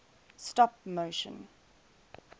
stop motion